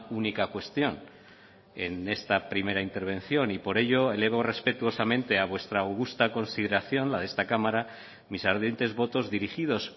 única cuestión en esta primera intervención y por ello elevo respetuosamente a vuestra augusta consideración la de esta cámara mis ardientes votos dirigidos